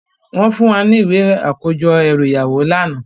Wòn fún wá ni iwé àkójò èrú iyáwó làná